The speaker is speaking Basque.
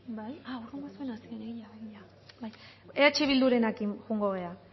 eh bildurekin joango gara